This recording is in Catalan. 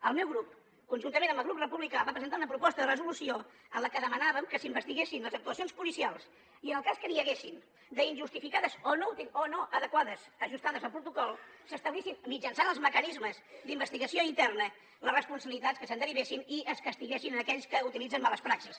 el meu grup conjuntament amb el grup republicà va presentar una proposta de resolució en la que demanàvem que s’investiguessin les actuacions policials i en el cas que n’hi hagués d’injustificades o no adequades ajustades a protocol s’establissin mitjançant els mecanismes d’investigació interna les responsabilitats que se’n derivessin i es castiguessin aquells que utilitzen males praxis